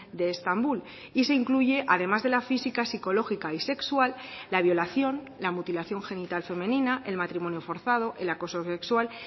de estambul y se incluye además de la física psicológica y sexual la violación la mutilación genital femenina el matrimonio forzado el acoso sexual